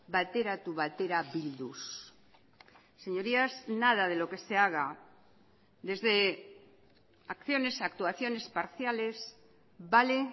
bateratu batera bilduz señorías nada de lo que se haga desde acciones actuaciones parciales vale